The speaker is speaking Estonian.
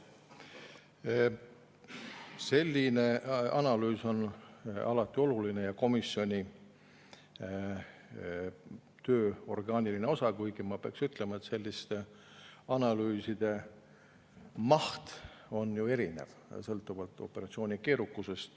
Selline analüüs on alati oluline ja see on komisjoni töö orgaaniline osa, kuigi ma peaks ütlema, et selliste analüüside maht on ju erinev, sõltuvalt operatsiooni keerukusest.